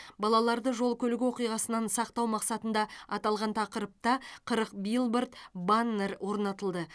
балаларды жол көлік оқиғасынан сақтау мақсатында аталған тақырыпта қырық билборд баннер орнатылды